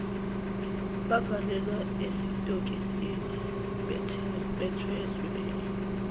bavalelwa esitokisini bethweswe